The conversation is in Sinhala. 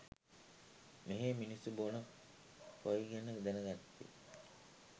මෙහේ මිනිස්සු බොන කොෆි ගැන දැනගත්තේ